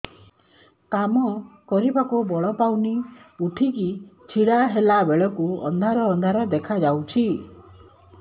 କାମ କରିବାକୁ ବଳ ପାଉନି ଉଠିକି ଛିଡା ହେଲା ବେଳକୁ ଅନ୍ଧାର ଅନ୍ଧାର ଦେଖା ଯାଉଛି